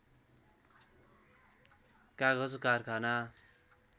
कागज कारखाना